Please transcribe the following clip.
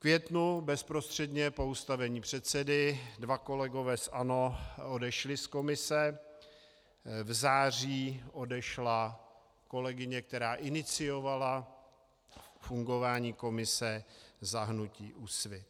V květnu bezprostředně po ustavení předsedy dva kolegové z ANO odešli z komise, v září odešla kolegyně, která iniciovala fungování komise za hnutí Úsvit.